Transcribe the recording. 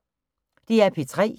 DR P3